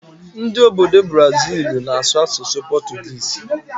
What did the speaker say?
Ndị obodo Buraziilu na-asụ asụsụ pọtụgịịsị.